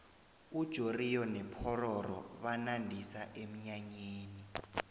ujoriyo nopororo banandisa emnyanyeni